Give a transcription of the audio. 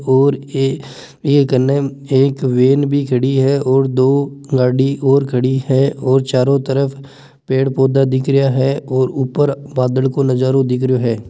और यह गाने एक वेन भी खड़ी हैं और दो गाडी और खड़ी हैं और चारो तरफ पेड़ पोधा दिख रहिया हैं और ऊपर बादल को नजारों दिख रहिया हैं।